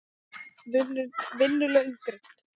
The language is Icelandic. Vinnu laun greidd.